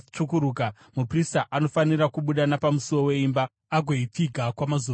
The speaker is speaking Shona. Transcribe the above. muprista anofanira kubuda napamusuo wemba agoipfiga kwamazuva manomwe.